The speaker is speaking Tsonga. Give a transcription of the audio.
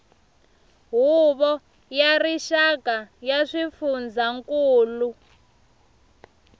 huvo ya rixaka ya swifundzankulu